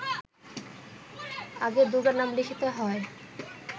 আগে দুর্গা নাম লিখিতে হয়